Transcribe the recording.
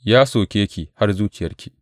Ya soke ki har zuciyarki!